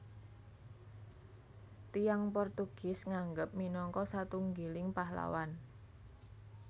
Tiyang Portugis nganggep minangka satunggiling pahlawan